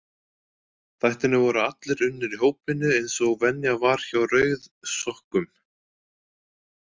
Þættirnir voru allir unnir í hópvinnu, eins og venja var hjá rauðsokkum.